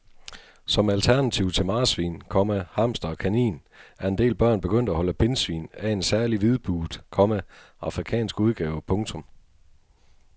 Som alternativ til marsvin, komma hamster og kanin er en del børn begyndt at holde pindsvin af en særlig hvidbuget, komma afrikansk udgave. punktum